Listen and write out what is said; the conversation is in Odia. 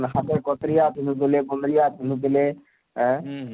ହାତେ କଟରିୟା ପିନ୍ଧୁ ଥିଲେ ଗଟରିୟା ପିନ୍ଧୁ ଥିଲେ ଆଁଏଁ